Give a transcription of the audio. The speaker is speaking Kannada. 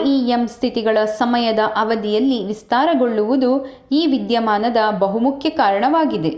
rem ಸ್ಥಿತಿಗಳ ಸಮಯದ ಅವಧಿಯಲ್ಲಿ ವಿಸ್ತಾರಗೊಳ್ಳುವುದು ಈ ವಿದ್ಯಮಾನದ ಬಹುಮುಖ್ಯ ಕಾರಣವಾಗಿದೆ